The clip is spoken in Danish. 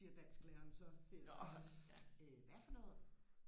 siger dansklæreren så siger jeg så øh hvad for noget